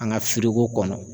An ka firiko kɔnɔ.